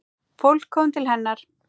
Fólk kom til hennar.